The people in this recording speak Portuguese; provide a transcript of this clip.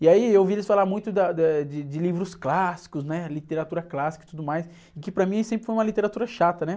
E aí eu ouvi eles falarem muito da, da, eh, de, de livros clássicos, né? Literatura clássica e tudo mais, que para mim sempre foi uma literatura chata, né?